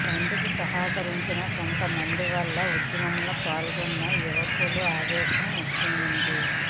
బందుకు సహకరించని కొంతమంది వల్ల ఉద్యమంలో పాల్గోన్న యువకులలో అవేశం ఉప్పొంగింది